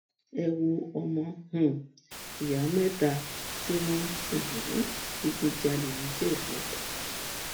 ẹ wo ọmọ um ìyá mẹta tí wọn ń um digunjalè nìjẹbù